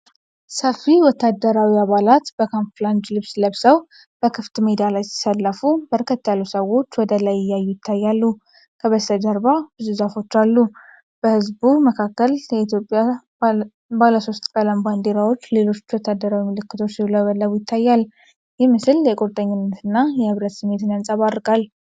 ሰፊ ወታደራዊ አባላት በካምፍላጅ ልብስ ለብሰው በክፍት ሜዳ ላይ ሲሰለፉ፣ በርከት ያሉ ሰዎች ወደ ላይ እያዩ ይታያሉ። ከበስተጀርባ ብዙ ዛፎች አሉ። በህዝቡ መካከል የኢትዮጵያ ባለሶስት ቀለም ባንዲራዎችና ሌሎች ወታደራዊ ምልክቶች ሲውለበለቡ ይታያል። ይህ ምስል የቁርጠኝነትና የኅብረት ስሜትን ያንጸባርቃል።